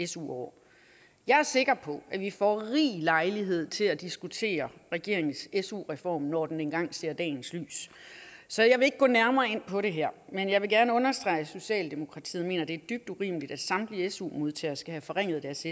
su år jeg er sikker på at vi får rig lejlighed til at diskutere regeringens su reform når den engang ser dagens lys så jeg vil ikke gå nærmere ind på det her men jeg vil gerne understrege at socialdemokratiet mener det er dybt urimeligt at samtlige su modtagere skal have forringet deres